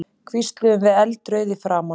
hvísluðum við eldrauð í framan.